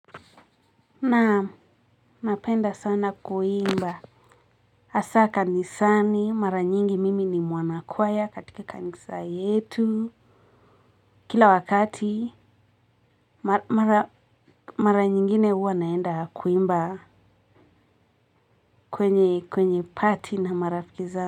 Naam napenda sana kuimba hasaa kanisani mara nyingi mimi ni mwana kwaya katika kanisa yetu kila wakati mara nyingine huwa naenda kuimba kwenye party na marafikizangu.